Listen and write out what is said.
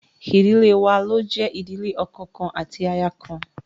Idile wa lo jẹ ìdílé ọkọ kan ati aya kan